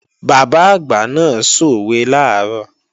Bàbá àgbà náà sòwe làárọ̀